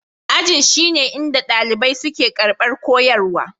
Ajin shine inda ɗalibai suke karɓar koyarwa.